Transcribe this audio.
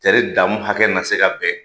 Tɛri daamu hakɛ na se ka bɛn